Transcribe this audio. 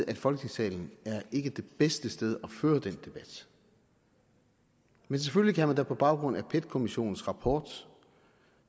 at folketingssalen er det bedste sted at føre den debat men selvfølgelig kan man da på baggrund af pet kommissionens rapport